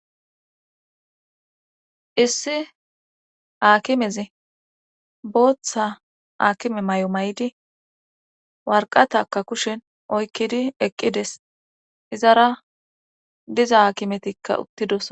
Issi aakimezi booththa aakime may7o may7di warqatakka kushen oykkidi eqqides izara diza akimetikka uttidos.